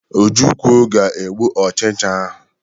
Ojukwu ga egbu ochicha ahụ.